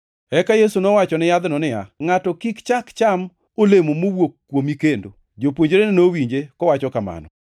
Eka Yesu nowacho ni yadhno niya, “Ngʼato kik chak cham olemo mowuok kuomi kendo.” Jopuonjrene nowinje kowacho kamano.